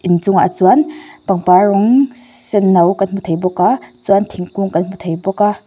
in chungah chuan pangpar rawng sen no kan hmu thei bawk a chuan thingkung kan hmu thei bawk a.